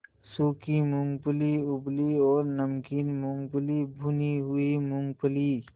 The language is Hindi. सूखी मूँगफली उबली और नमकीन मूँगफली भुनी हुई मूँगफली